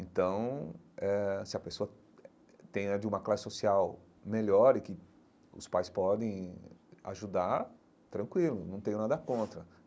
Então, eh se a pessoa tem é de uma classe social melhor e que os pais podem ajudar, tranquilo, não tenho nada contra.